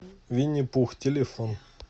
винни пух телефон